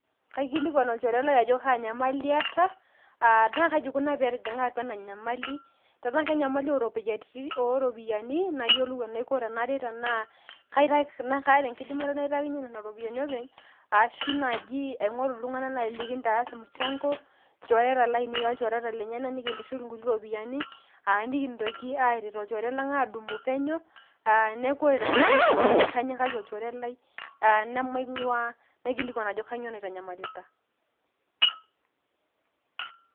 Kaikilikwan olchore lai ajo kanyamali eeta, ah na kaji ikuna petijing'a atua ena nyamali. Tenaa kenyamali oropiyiani, nayiolou enaiko tenaret tenaa kaata enkidimata naitakinye nena ropiyaiani openy, ashu naji aing'oru iltung'anak nai linkintaas mchango ,ilchoreta lainei olchoreta lenyanak, nikintushul inkuti ropiyaiani, ah nikintoki aret olchore lang' adumu penyo. Neeku ore tenkata enyamali kanyikaki olchore lai, ah namaing'ua, naikilikwan ajo kanyioo naitanyamalita.